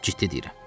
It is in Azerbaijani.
Ciddi deyirəm.